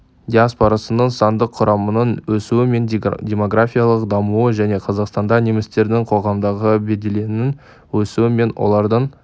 диаспорасының сандық құрамының өсуі мен демографиялық дамуы және қазақстанда немістердің қоғамдағы беделінің өсуі мен олардың